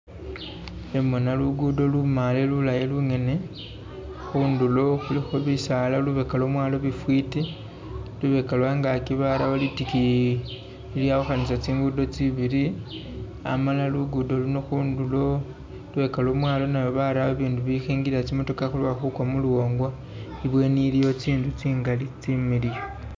Khembona lugudo lumaale lulayi lungene khundulo khulikho bisaala lubeka lwomwalo lufwiti, lubeka lwe angaki barawo litikiyi lilyawukhanisa tsingudo tsibili amala lugudo luno khundulo lubeka lwomwalo nayo barawo ibindu ibikhingilila tsi motokha khuloba khukwa muluwonga, ibweni iliyo tsinzu tsingali tsi miliyu.